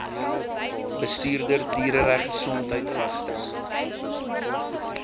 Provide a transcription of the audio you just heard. bestuurder dieregesondheid vasstel